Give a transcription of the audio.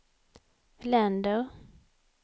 länder